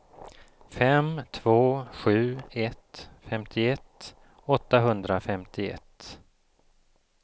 fem två sju ett femtioett åttahundrafemtioett